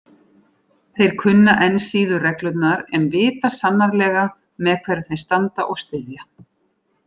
Þeir kunna enn síður reglurnar en vita sannarlega með hverjum þeir standa og styðja.